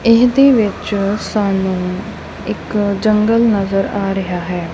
ਇਹਦੇ ਵਿੱਚ ਸਾਨੂੰ ਇੱਕ ਜੰਗਲ ਨਜ਼ਰ ਆ ਰਿਹਾ ਹੈ।